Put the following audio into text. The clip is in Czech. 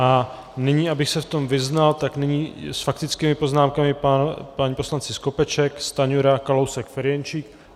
A nyní, abych se v tom vyznal, tak nyní s faktickými poznámkami páni poslanci Skopeček, Stanjura, Kalousek, Ferjenčík.